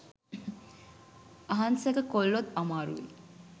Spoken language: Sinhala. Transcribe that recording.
අහංසක කොල්ලොත් අමාරුවේ